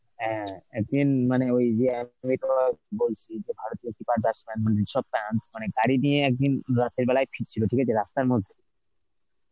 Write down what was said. হ্যাঁ একদিন মানে ওই ওই বলছি ভারতীয় keeper batsman মানে বিশাপ পান্থ মানে গাড়ি নিয়ে একদিন রাতের বেলায় ফিরছিল ঠিক আছে, রাস্তার মধ্যে